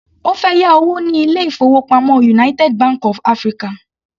Ó fẹ́ yá owó ní ilé-ìfowópamọ́ United Bank of African.